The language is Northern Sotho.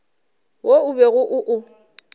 wo o bego o o